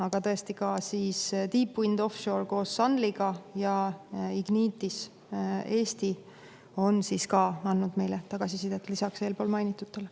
Aga tõesti, ka Deep Wind Offshore koos Sunlyga ja Ignitis Eesti on andnud meile tagasisidet lisaks eelmainitutele.